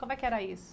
Como é que era isso?